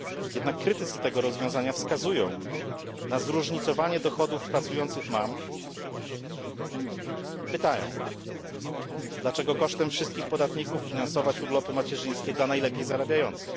Jednak krytycy tego rozwiązania wskazują na zróżnicowanie dochodów pracujących mam i pytają Dlaczego kosztem wszystkich podatników finansować urlopy macierzyńskie dla najlepiej zarabiających?